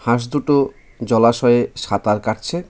হাঁস দুটো জলাশয়ে সাঁতার কাটছে.